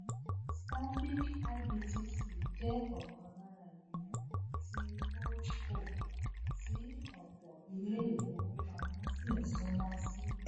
stanbic ibtc jẹ ọkan lára ìgbìmọ ti holdco tí ọpọ ilé ìfowópamọ sí ń súnmọ sí